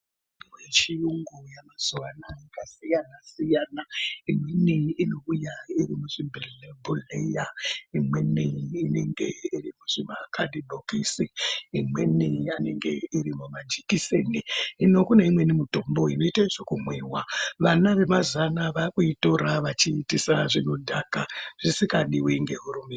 Kune mitombo yechiyungu yAmazuwa anaa akasiyana siyana. Imweni inouya iri muzvibhodhleya, imweni inenge iri muzvimakhadhibhokisi, imweni inenge iri mumajekiseni. Hino kune imweni mitombo inoita zvekumwiwa, vana vemazuwa anaa vaakuitora vachiitisa zvinodhaka zvisingadiwi ngehurumende.